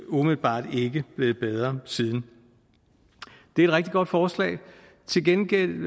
umiddelbart ikke blevet bedre siden det er rigtig godt forslag til gengæld